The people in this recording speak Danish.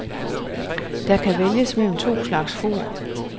Der er kan vælges mellem to slags for.